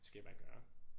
Det skal I bare gøre